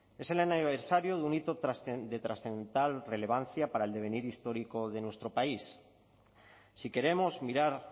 es el aniversario de un hito de trascendental relevancia para el devenir histórico de nuestro país si queremos mirar